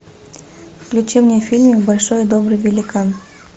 включи мне фильм большой и добрый великан